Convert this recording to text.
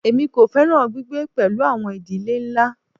Èmi kò fẹ́ràn gbígbé pẹ̀lú àwọn ìdílé ńlá.